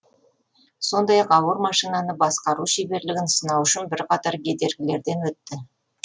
сондай ақ ауыр машинаны басқару шеберлігін сынау үшін бірқатар кедергілерден өтті